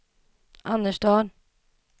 Annerstad